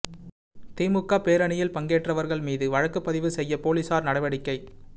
திமுக பேரணியில் பங்கேற்றவா்கள் மீது வழக்குப் பதிவு செய்ய போலீஸாா் நடவடிக்கை